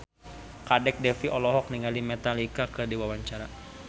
Kadek Devi olohok ningali Metallica keur diwawancara